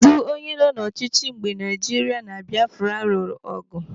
Kedụ onye nọ n'ọchịchị mgbe Naijiria na Biafra lụrụ agha?